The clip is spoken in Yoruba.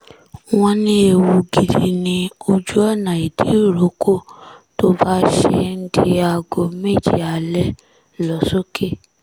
wọ́n ní ewu gidi ni ojú ọ̀nà ìdíròkọ tó bá ṣe ń di aago méje alẹ́ lọ sókè